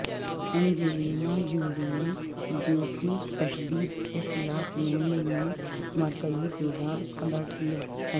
Angelina Jolie نے جنسی تشدد کے خلاف مہم میں مرکزی کردار ادا کیا ہے